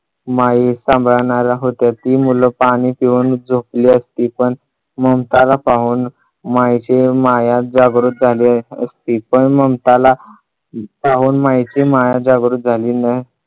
माई सांभाळणार होत्या ती मुलं पाणी पिऊन झोपली असती पण ममताला पाहून तर माईची माया जागृत झाली असती पण ममताला पाहून माईची माया जागृत झाली